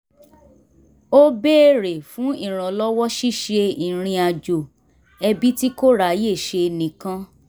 ó béèrè fún ìrànlọ́wọ́ ṣíṣe ìrìnàjò ẹbí tí kò ráyè ṣe nìkan